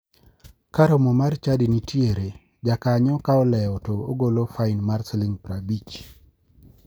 Ka romo mar chadi nitiere, jakanyo ka olewo to ogolo fain mar siling 50.